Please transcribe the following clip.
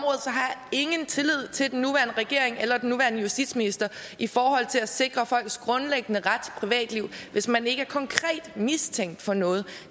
ingen tillid til den nuværende regering eller den nuværende justitsminister i forhold til at sikre folks grundlæggende ret privatliv hvis man ikke er konkret mistænkt for noget